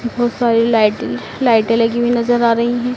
बहोत सारी लाइटें लाइटें लगी हुई नजर आ रही हैं।